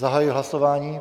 Zahajuji hlasování.